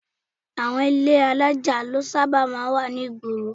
Àwọn ilé alájà ló sábà máa ń wà ní ìgboro